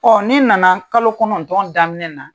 n'i nana kalo kɔnɔntɔn daminɛ na.